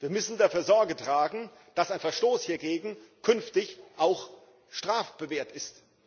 Wir müssen dafür Sorge tragen, dass ein Verstoß hiergegen künftig auch strafbewehrt ist.